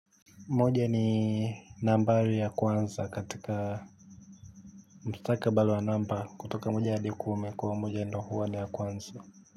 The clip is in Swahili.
Moja ni nambari ya kwanza katika mustakabali wa namba kutoka moja hadi kumi kwa hio moja ndio huwa ni ya kwanza.